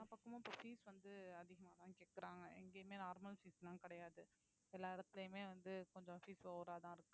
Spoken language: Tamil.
எல்லா பக்கமும் இப்ப fees வந்து அதிகமாதான் கேக்கறாங்க எங்கேயுமே normal fees லாம் கிடையாது எல்லா இடத்துலயுமே வந்து கொஞ்சம் fees over ஆதான் இருக்கு